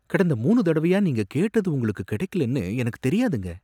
கடந்த மூணு தடவையா நீங்க கேட்டது உங்களுக்கு கிடைக்கலைன்னு எனக்குத் தெரியாதுங்க.